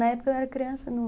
Na época eu era criança, não